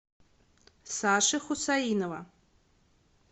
саши хусаинова